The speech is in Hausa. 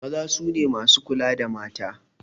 Maza su ne masu kula da mata.